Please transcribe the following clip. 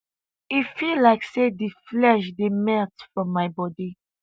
e feel like say di flesh dey melt from my body